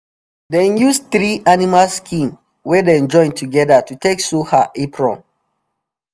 dem use three animal skin wey dem join together to take sew her apron